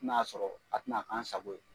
N'a y'a sɔrɔ a tina kan sago ye